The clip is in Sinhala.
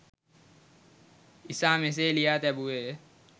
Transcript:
ඉසා මෙසේ ලියා තැබුවේය